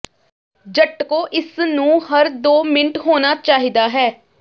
ਝਟਕੋ ਇਸ ਨੂੰ ਹਰ ਦੋ ਮਿੰਟ ਹੋਣਾ ਚਾਹੀਦਾ ਹੈ